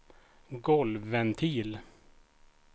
golvventil